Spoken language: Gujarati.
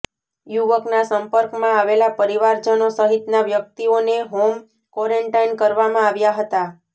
યુવકના સંપર્કમાં આવેલા પરિવારજનો સહિતના વ્યક્તિઓને હોમ કોરેન્ટાઇન કરવામાં આવ્યા હતા